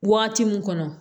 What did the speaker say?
Waati min kɔnɔ